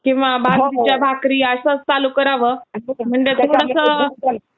किंवा बाजरीच्या भाकरी असं चालू करावं म्हणजे थोडंसं.